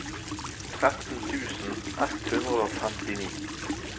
tretten tusen ett hundre og femtini